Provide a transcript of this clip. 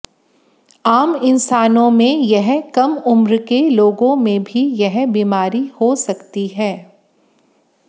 आम इंसानों में यह कम उम्र के लोगों में भी यह बीमारी हो सकती है